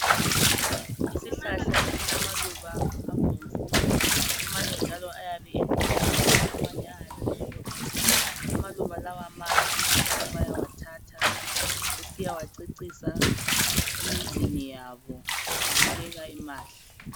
Isihlahla esilamaluba abomvu. Amanye njalo ayabe elithanga, amanye njalo ayabe emhlophe. Amaluba lawa mahle abantu bayawathatha besiya wacecisa emizini yabo. Abukeka emahle.